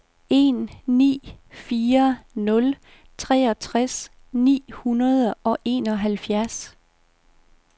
en ni fire nul treogtres ni hundrede og enoghalvfjerds